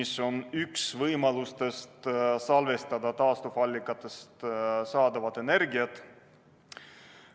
See on üks võimalus salvestada taastuvallikatest saadavat energiat.